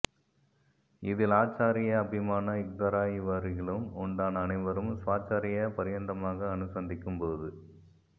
இதில் ஆச்சார்யா அபிமான யுக்தராய் இவ்வருகிலும் யுண்டான அனைவரும் ஸ்வாச்சார்ய பர்யந்தமாக அனுசந்திக்கும் போது